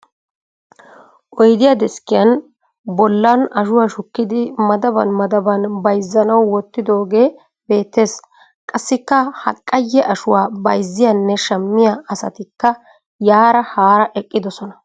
Oyidiya deskkiyan bollan ashuwa shukkidi madaban madaban bayizzanawu wottidoogee beettes. Qassikka ha qayye ashuwa bayizziyanne shammiya asatikka yaara haara eqqiisona.